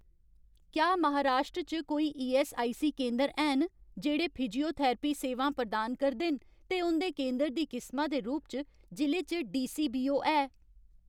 क्या महाराश्ट्र च कोई ईऐस्सआईसी केंदर हैन जेह्ड़े फिजियोथरैपी सेवां प्रदान करदे न ते उं'दे केंदर दी किसमा दे रूप च जि'ले च डीसीबीओ है ?